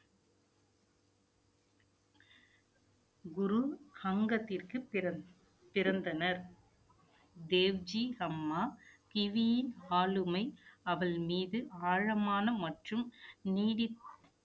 குரு அங்கத்திற்கு பிறந்~ பிறந்தனர் தேவ்ஜி அம்மா கிவியின் ஆளுமை அவள் மீது ஆழமான மற்றும் நீடித்~